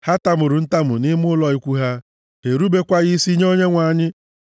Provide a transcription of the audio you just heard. Ha tamuru ntamu nʼime ụlọ ikwu ha; ha erubekwaghị isi nye Onyenwe anyị.